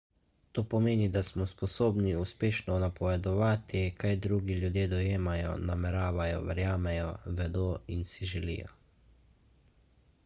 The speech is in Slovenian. to pomeni da smo sposobni uspešno napovedati kaj drugi ljudje dojemajo nameravajo verjamejo vedo in si želijo